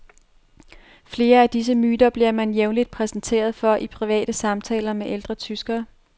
Flere af disse myter bliver man jævnligt præsenteret for i private samtaler med ældre tyskere.